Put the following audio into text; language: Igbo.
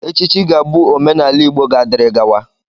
Echichi ga-abụ omenaala Igbo ga-adịrị gawa.